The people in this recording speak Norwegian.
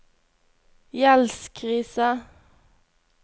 gjeldskrise